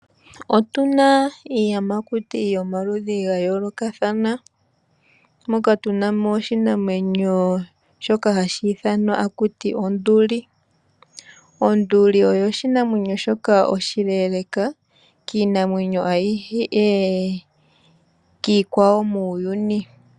Otuna iiyamakuti yomaludhi gayoolokathana, moka tuna mo oshinamwenyo shoka hashi ithanwa haku tiwa onduli. Onduli oyo oshinamwenyo shoka oshileeleeka kiinamwenyo ayihe, kiikwawo muuyuni.